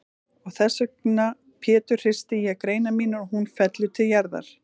Og þessvegna Pétur hristi ég greinar mínar og hún fellur til jarðar.